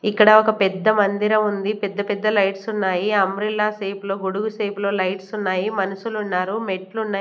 ఇక్కడ ఒక పెద్ద మందిరం ఉంది పెద్ద పెద్ద లైట్స్ ఉన్నాయి అంబ్రెల్లా షేపులో గొడుగు షేపులో లైట్స్ ఉన్నాయి మనుషులు ఉన్నారు మెట్లు ఉన్నాయి.